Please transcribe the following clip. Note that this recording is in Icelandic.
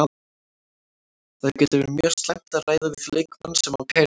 Það getur verið mjög slæmt að ræða við leikmann sem á kærustu.